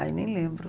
Ai, nem lembro.